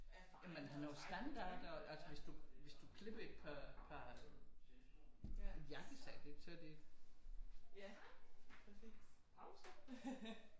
Ja man har nogle standarder altså hvis du klipper i et par et jakkesæt ikke så det